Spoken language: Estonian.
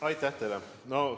Aitäh teile!